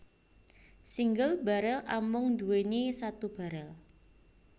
Single barel amung nduweni satu barel